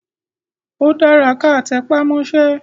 Ó dára kí a tẹpá mọ́sẹ́.